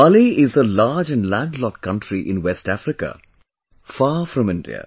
Mali is a large and land locked country in West Africa, far from India